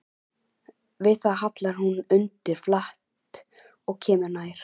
Við það hallar hún undir flatt og kemur nær.